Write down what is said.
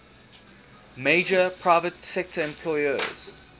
major private sector employers